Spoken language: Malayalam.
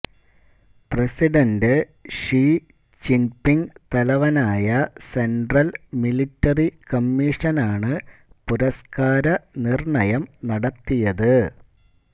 പ്രസിഡന്റ് ഷി ചിൻപിങ് തലവനായ സെൻട്രൽ മിലിറ്ററി കമ്മിഷനാണു പുരസ്കാരനിർണയം നടത്തിയത്